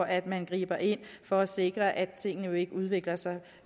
at man griber ind for at sikre at tingene ikke udvikler sig